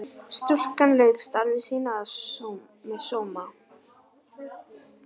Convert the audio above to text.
Stúlkan lauk starfi sínu með sóma.